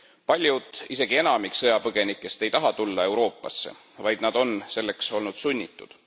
Paljud, isegi enamik sõjapõgenikest ei taha tulla Euroopasse, vaid nad on selleks olnud sunnitud.